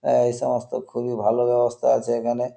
আহ এই সমস্ত খুবই ভালো ব্যাবস্থা আছে এখানে-এ।